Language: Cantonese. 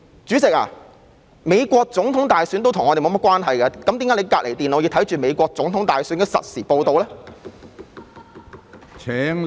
主席，美國總統大選跟我們也沒有甚麼關係，為何你在旁邊電腦觀看美國總統大選的實時報道呢？